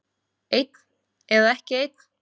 Einn eða ekki einn.